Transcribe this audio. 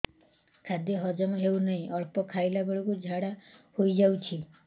ଖାଦ୍ୟ ହଜମ ହେଉ ନାହିଁ ଅଳ୍ପ ଖାଇଲା ବେଳକୁ ଝାଡ଼ା ହୋଇଯାଉଛି